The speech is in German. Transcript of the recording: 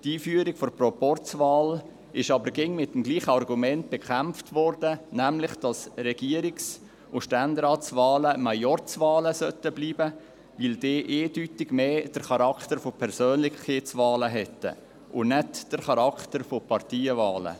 Die Einführung der Proporzwahl wurde aber immer mit demselben Argument bekämpft, nämlich, dass Regierungs- und Ständeratswahlen Majorzwahlen bleiben sollten, weil sie eindeutig den Charakter von Persönlichkeitswahlen hätten und nicht den Charakter von Parteienwahlen.